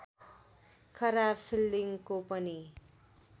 खराब फिल्डिङको पनि